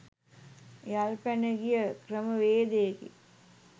යල්පැන ගිය ක්‍රමවේදයකි